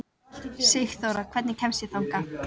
Sigþóra, hvernig kemst ég þangað?